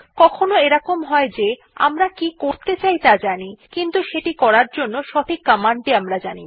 কখনও এরকম হয় যে আমরা কি করতে চাই ত়া জানি কিন্তু সেটি করার জন্য সঠিক কমান্ড টি জানি না